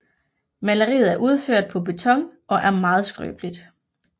Maleriet er udført på beton og er meget skrøbeligt